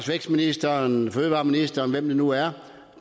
vækstministeren fødevareministeren eller hvem det nu er